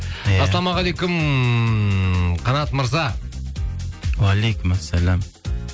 ассаламағалейкум қанат мырза уағалейкумассалям